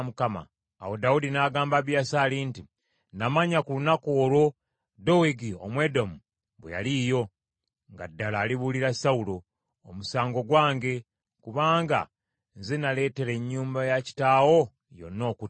Awo Dawudi n’agamba Abiyasaali nti, “Namanya ku lunaku olwo, Dowegi Omwedomu bwe yaliiyo, nga ddala alibuulira Sawulo. Omusango gwange kubanga nze naleetera ennyumba ya kitaawo yonna okuttibwa.